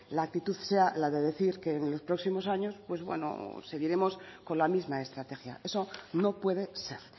la actitud sea la de decir que en los próximos años pues bueno seguiremos con la misma estrategia eso no puede ser